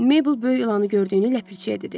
Mabel böyük ilanını gördüyünü ləpirçiyə dedi.